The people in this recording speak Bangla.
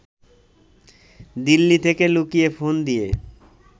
দিল্লি থেকে লুকিয়ে ফোন দিয়ে